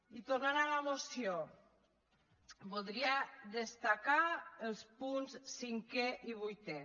i tornant a la moció voldria destacar els punts cinquè i vuitè